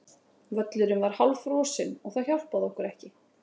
Völlurinn var hálffrosinn og það hjálpaði okkur ekki.